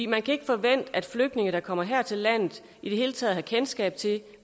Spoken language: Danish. man kan ikke forvente at flygtninge der kommer her til landet i det hele taget har kendskab til